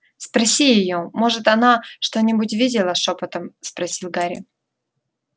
спроси её может она что-нибудь видела шёпотом попросил гарри